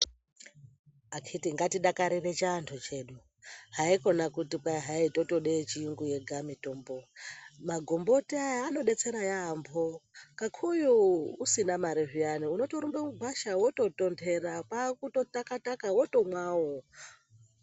Akiti ngatidakarire chiantu chedu haikone kuti totoda mitombo yechiyungu yega, magomboti aya anodetsera yambo kakuyu usina mare zviyana unotorumbe mugwasha wototondera kwakutotaka taka wotomwawo.